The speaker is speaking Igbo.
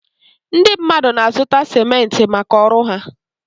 Ndị mmadụ na-azụta simentị maka ọrụ ha.